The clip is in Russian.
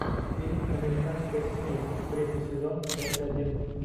фильм американская семейка третий сезон часть один